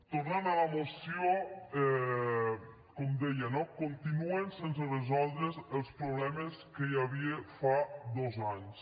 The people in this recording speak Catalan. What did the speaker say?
tornant a la moció com deia no continuen sense resoldre’s els problemes que hi havia fa dos anys